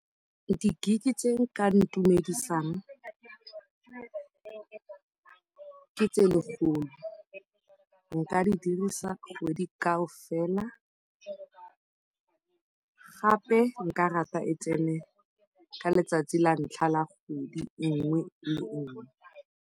Di-gig-i tse di ka intumedisang ke tse lekgolo, nka di dirisa kgwedi kaofela, gape nka rata e tsene ka letsatsi la ntlha la kgwedi e nngwe le e nngwe.